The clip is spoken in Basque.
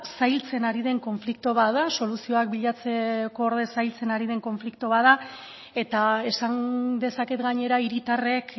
zailtzen ari den konflikto bat da soluzioak bilatzeko zailtzen ari den konflikto bat da eta esan dezaket gainera hiritarrek